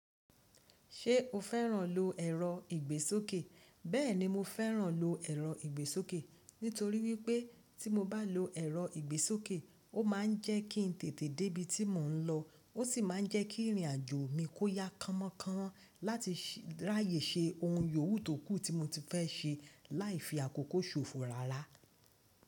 Ṣé o fẹ́ràn lo ẹ̀rọ ìgbésókè? Bẹ́ẹ̀ni mo fẹ́ràn lo ẹ̀rọ ìgbésókè. Nítorí wípé tí mo bá lo ẹ̀rọ ìgbésókè ó máà ń jẹ́ kí n tètè débí tí mò ń lọ. Ó sì ma ń jẹ́ kí ìrìn àjò mi kó yá kánmọ́kánmo láti ráyè ṣe ohun yòówù tókù tí mo ti fẹ́ ṣe láì fi àkókò ṣòfò rárá.